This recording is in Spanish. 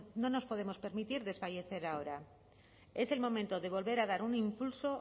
no nos podemos permitir desfallecer ahora es el momento de volver a dar un impulso